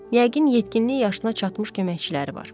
Yəqin yetkinlik yaşına çatmış köməkçiləri var.